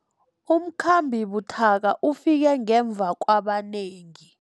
Umkhambi buthaka ufike ngemva kwabanengi.